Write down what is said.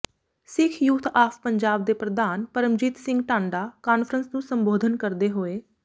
Sikh youth of Punjab ਦੇ ਪ੍ਰਧਾਨ Paramjit Singh Tanda conference ਨੂੰ ਸੰਬੋਧਨ ਕਰਦੇ ਹੋਏ